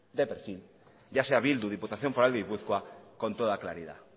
de perfil ya sea bildu diputación de gipuzkoa con toda claridad